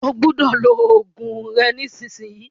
Ó gbọ́dọ̀ lo oògùn rẹ nísìsiyìí!